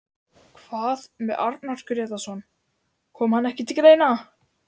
Hvað með Arnar Grétarsson, kom hann ekki til greina?